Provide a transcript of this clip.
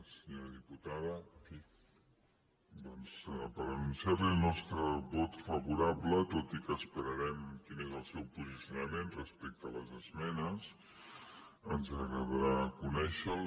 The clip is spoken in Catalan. senyora diputada doncs per anunciar li el nostre vot favorable tot i que esperarem quin és el seu posicionament respecte a les esmenes ens agradarà conèixer lo